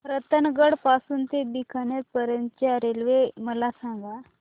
रतनगड पासून ते बीकानेर पर्यंत च्या रेल्वे मला सांगा